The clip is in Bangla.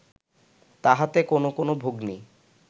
তাহাতে কোন কোন ভগ্নী